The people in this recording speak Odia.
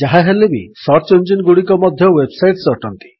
ଯାହାହେଲେ ବି ସର୍ଚ୍ଚ ଇଞ୍ଜିନଗୁଡ଼ିକ ମଧ୍ୟ ୱେବ୍ ସାଇଟ୍ସ ଅଟନ୍ତି